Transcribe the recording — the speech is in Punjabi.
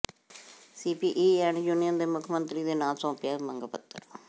ਸੀਪੀਈਐੱਫ ਯੂਨੀਅਨ ਨੇ ਮੁੱਖ ਮੰਤਰੀ ਦੇ ਨਾਂ ਸੌਂਪਿਆ ਮੰਗ ਪੱਤਰ